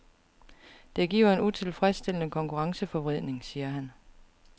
Det giver en utilfredsstillende konkurrenceforvridning, siger han.